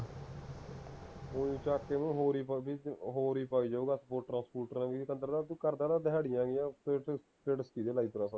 ਓਹੀ ਚੱਕ ਕੇ ਨਾ ਹੋਰ ਹੀ ਹੋਰ ਹੀ ਪਾ ਹੀ ਜਾਊਗਾ sport ਸਪੁਟਰਾ ਦੀਆਂ ਪਤੰਦਰਾ ਤੂੰ ਕਰਦਾ ਰਿਹਾ ਦਿਹਾੜਿਆਂ ਜੀਆਂ ਫੇਰ ਵੀਡੀਓ